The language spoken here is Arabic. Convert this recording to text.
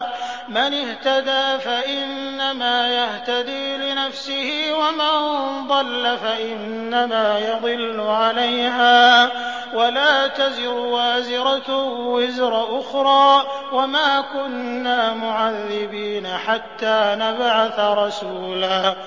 مَّنِ اهْتَدَىٰ فَإِنَّمَا يَهْتَدِي لِنَفْسِهِ ۖ وَمَن ضَلَّ فَإِنَّمَا يَضِلُّ عَلَيْهَا ۚ وَلَا تَزِرُ وَازِرَةٌ وِزْرَ أُخْرَىٰ ۗ وَمَا كُنَّا مُعَذِّبِينَ حَتَّىٰ نَبْعَثَ رَسُولًا